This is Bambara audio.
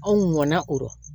Anw mɔnna o rɔ